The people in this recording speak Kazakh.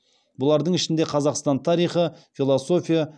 бұлардың ішінде қазақстан тарихы философия